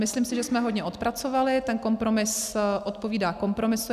Myslím si, že jsme hodně odpracovali, ten kompromis odpovídá kompromisu.